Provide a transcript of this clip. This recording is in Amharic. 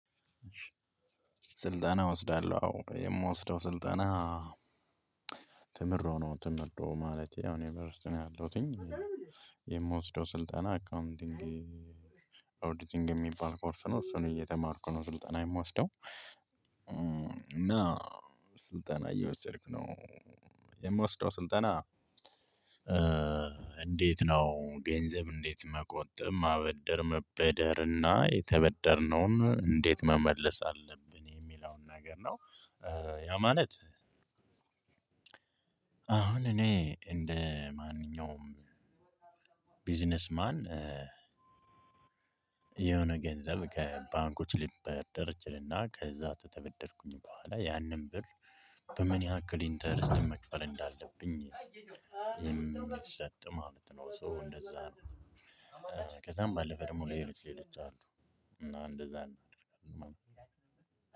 ስልጠና እወስዳለሁ አዎ። የምወስደው ስልጠና ትምህርት ነው ትምህርት ነው ማለት ያው እኔ በዩኒቨርሲቲ ውስጥ ነው ያለሁትኝ። የምወስደው ስልጠና አካውንቲንግ ኦዲቲንግ የሚባል ኮርስ ነው። እሱን እየተማርኩ ነው ስልጠና የምወስደው። እና ስልጠና እየወሰድክ ነው የምወስደው ስልጠና እንዴት ነው ገንዘብ እንዴት መቆጠብ ማበደር መበደርና የተበደርነውን እንዴት መመለስ አለብን የሚለውን ነገር ነው። ያ ማለት አሁን እኔ እንደ ማንኛውም ቢዝነስ ማን የሆነ ገንዘብ ከባንኮች ሊበደር እችልና ከዛ ከተበደርኩኝ በኋላ ያንን ብር በምን ያክል ኢንተረስት መክፈል እንዳለብኝ የሚሰጥ ማለት ነው። ሶ እንደዛ ነው። ከዛም ባለፈ ደግሞ ሌሎች ሌሎች አሉ እና እንደዛ እናደርጋለን።